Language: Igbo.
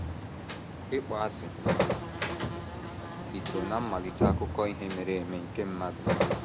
ỊKPỌASỊ bidoro ná mmalite akụkọ ihe mere eme nke mmadụ.